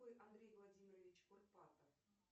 андрей владимирович курпатов